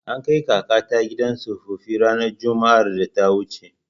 An kai kakata gidan tsofaffi ranar Juma'ar da ta wuce.